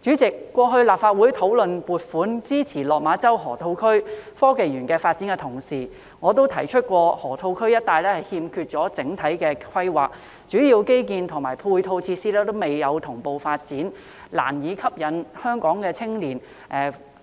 主席，過去立法會討論撥款支持落馬洲河套區科技園發展時，我曾提出河套區一帶欠缺整體規劃，主要基建及配套設施未能同步發展，難以吸引香港青年